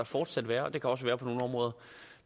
fortsat være og det kan også være på nogle områder